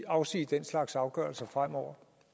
afsige den slags afgørelser fremover